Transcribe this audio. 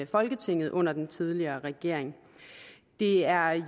folketinget under den tidligere regering det er